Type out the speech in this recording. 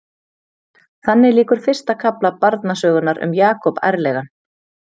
Þannig lýkur fyrsta kafla barnasögunnar um Jakob ærlegan.